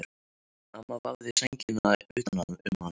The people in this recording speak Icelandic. Amma vafði sænginni utan um hana.